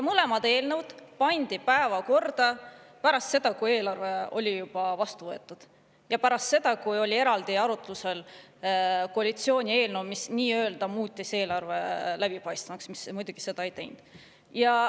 Mõlemad eelnõud pandi päevakorda pärast seda, kui eelarve oli juba vastu võetud, ja pärast seda, kui oli eraldi arutlusel olnud koalitsiooni eelnõu, mis nii-öelda muutis eelarve läbipaistvamaks, kuigi muidugi ta seda ei teinud.